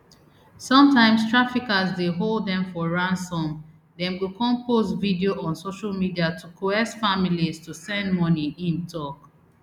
sometimes traffickers dey hold dem for ransom dem go kon post video on social media to coerce families to send money im tok